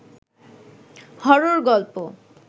horror গল্প